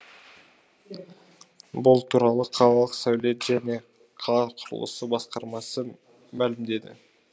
бұл туралы қалалық сәулет және қала құрылысы басқармасы мәлімдеді